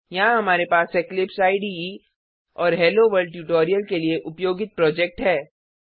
यहाँ हमारे पास इक्लिप्स इडे और हेलोवर्ल्ड ट्यूटोरियल के लिए उपयोगित प्रोजेक्ट है